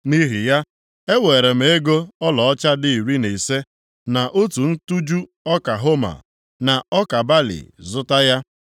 Nʼihi ya, eweere m ego ọlaọcha dị iri na ise, na otu ntụju ọka homa, na ọka balị zụta ya.